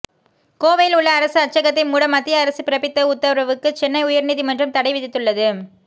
கோவையில் உள்ள அரசு அச்சகத்தை மூட மத்திய அரசு பிறப்பித்த உத்தரவுக்கு சென்னை உயர் நீதிமன்றம் தடை விதித்துள்ளது